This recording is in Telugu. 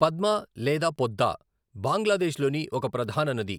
పద్మ లేదా పొద్దా బంగ్లాదేశ్లోని ఒక ప్రధాన నది.